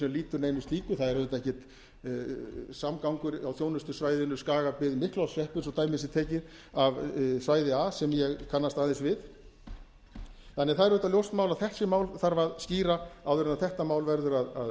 sem lýtur neinu slíku það er auðvitað enginn samgangur á þjónustusvæðinu skagabyggð miklaholtshreppur svo dæmi sé tekið af svæði a sem ég kannast aðeins við það er því auðvitað ljóst mál að þessi mál þarf að skýra áður en þetta mál verður að